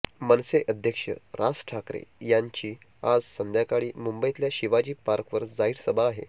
मनसे अध्यक्ष राज ठाकरें यांची आज संध्याकाळी मुंबईतल्या शिवाजी पार्कवर जाहीर सभा आहे